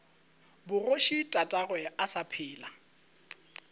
bogoši tatagwe a sa phela